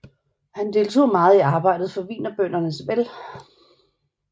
Han deltog meget i arbejdet for Wienerbørnenes vel